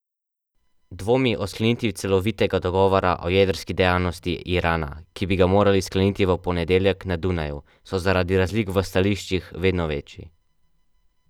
Dvomi o sklenitvi celovitega dogovora o jedrski dejavnosti Irana, ki bi ga morali skleniti v ponedeljek na Dunaju, so zaradi razlik v stališčih vedno večji.